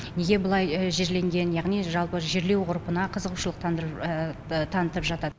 неге бұлай жерленген яғни жалпы жерлеу ғұрпына қызығушылық танытып жатады